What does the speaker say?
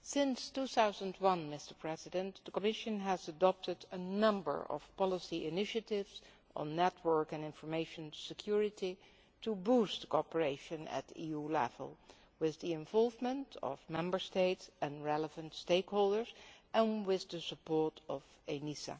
Since 2001, the Commission has adopted a number of policy initiatives on network and information security to boost cooperation at EU level, with the involvement of Member States and relevant stakeholders and with the support of ENISA.